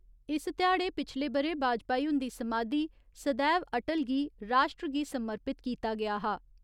इस ध्याड़े पिछले बरे बाजपाई हुन्दी समाधी सदैव अटल गी राश्ट्र गी समर्पित कीता गेआ हा।